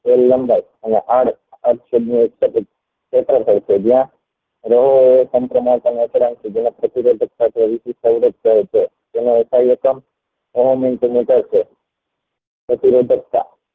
પ્રતિ રોધકતા